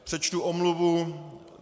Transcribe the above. Přečtu omluvu.